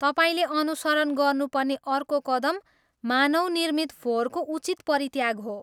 तपाईँले अनुसरण गर्नुपर्ने अर्को कदम मानवनिर्मित फोहोरको उचित परित्याग हो।